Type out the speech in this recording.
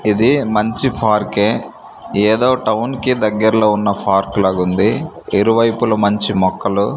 ఇది మంచి ఫార్కె ఏదో టౌన్ కి దగ్గర్లో ఉన్న ఫార్క్ లాగుంది ఇరువైపులా మంచి మొక్కలు--